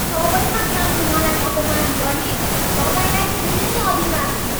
सबैका सामु मलाई अपमान गर्ने तपाईँलाई कुनै अधिकार थिएन।